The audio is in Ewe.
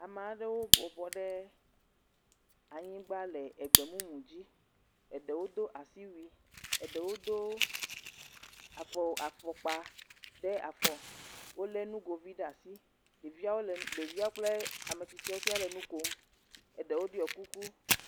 ame aɖewo bɔbɔ nyi ɖe anyigbã le egbemumu dzi eɖewo dó asiwui eɖewo dó afɔkpa ɖe afɔ wóle nugovi ɖe asi ɖevia ɖeviawo kple ametsitsiawo tsɛ le nukom eɖewo ɖɔ kuku